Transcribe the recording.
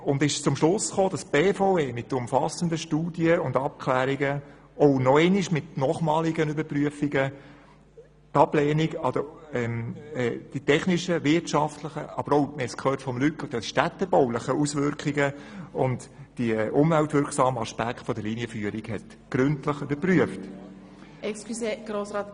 Sie kam zum Schluss, dass die BVE mit umfassenden Studien und Abklärungen die technischen, wirtschaftlichen, aber auch – wie wir von Luc Mentha gehört haben – die städtebaulichen Auswirkungen und die um weltwirksamen Aspekte der Linienführung gründlich überprüft hat.